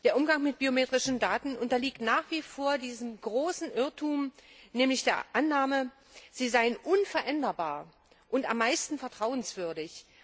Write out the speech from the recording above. Der Umgang mit biometrischen Daten unterliegt nach wie vor diesem großen Irrtum, nämlich der Annahme, sie seien unveränderbar und am meisten vertrauenswürdig.